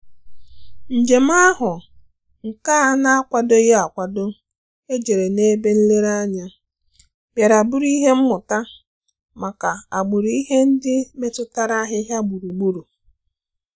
Njèm áhụ́ nke á nà-ákwàdòghị́ ákwádò éjérè n’ébè nlèrèànyà, bìàrà bụ́rụ́ ìhè mmụ́tà màkà àgbụ̀rụ̀ ìhè ndị́ métụ́tàrà àhị́hị́à gbúrù-gbúrù.